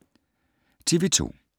TV 2